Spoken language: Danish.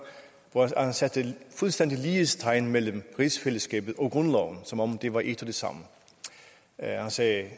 at han satte fuldstændig lighedstegn mellem rigsfællesskabet og grundloven som om det var et og det samme han sagde